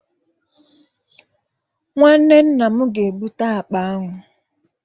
Nwanne nna m ga-ebute akpa ahụ